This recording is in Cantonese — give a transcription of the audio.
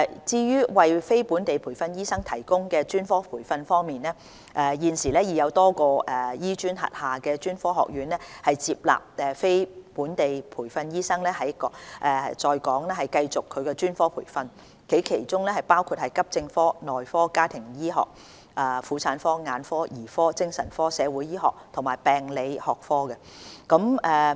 至於為非本地培訓醫生提供專科培訓方面，現時已有多個醫專轄下的專科學院接納非本地培訓醫生在港繼續其專科培訓，其中包括急症科、內科、家庭醫學、婦產科、眼科、兒科、精神科、社會醫學及病理學科。